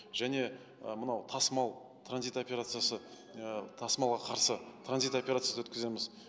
және ы мынау тасымал транзит операциясы ы тасымалға қарсы транзит операциясын өткіземіз